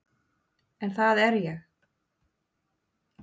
En það er ég.